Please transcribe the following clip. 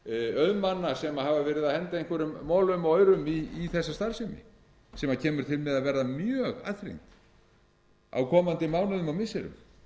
auðmanna sem hafa verið að henda einhverjum molum og aurum í þessa starfsemi sem kemur til með að verða mjög aðþrengd á komandi mánuðum og missirum